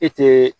E tɛ